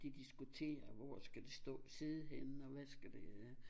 De diskuterer hvor skal det stå sidde henne og hvad skal det øh